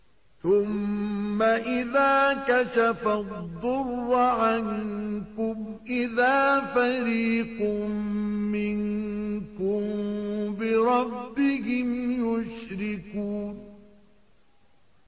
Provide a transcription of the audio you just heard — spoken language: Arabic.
ثُمَّ إِذَا كَشَفَ الضُّرَّ عَنكُمْ إِذَا فَرِيقٌ مِّنكُم بِرَبِّهِمْ يُشْرِكُونَ